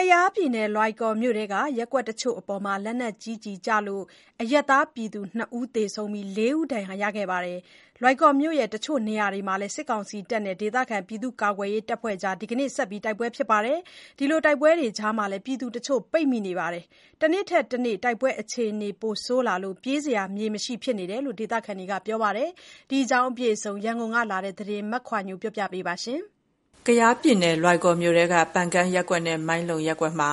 ကယားပြည်နယ် လွိုင်ကော်မြို့ထဲက ရပ်ကွက်တချို့အပေါ် လက်နက်ကြီးကျလို့ အရပ်သားပြည်သူ ၂ ဦး သေဆုံး ၄ ဦးဒဏ်ရာရရှိပါတယ်။ လွိုင်ကော်မြို့ တချို့နေရာတွေမှာလည်း စစ်ကောင်စီတပ်တွေနဲ့ဒေသခံပြည်သူ့ကာကွယ်ရေးအဖွဲ့တွေ ဒီနေ့ဆက်ပြီး တိုက်ပွဲဖြစ်ပွားနေပါတယ်။ တိုက်ပွဲတွေကြား ပြည်သူတချို့လည်း ပိတ်မိနေပါတယ်။ တနေ့ထက်တနေ့ တိုက်ပွဲအခြေအနေပိုဆိုးလာလို့ ပြေးစရာမြေ မရှိဖြစ်နေတယ်လို့ ဒေသခံတွေက ပြောပါတယ်။ ဒီအခြေအနေအကြောင်း ရန်ကုန်ကလာတဲ့ သတင်းကို မခွာညိုက တင်ပြပေးထားပါတယ်။ ကယားပြည်နယ် လွိုင်ကော်မြို့ထဲက ပန်ကန်းရပ်ကွက်နဲ့ မိုင်းလုံရပ်ကွက်ဘက်မှာ